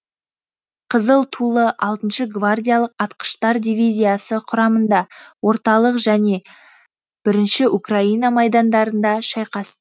қызыл тулы алтыншы гвардиялық атқыштар дивизиясы құрамында орталық және бірінші украина майдандарында шайқас